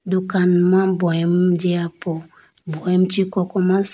dukan ma boyim jiya po boyim chee kokoma.